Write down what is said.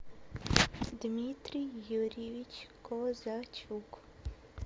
дмитрий юрьевич козачук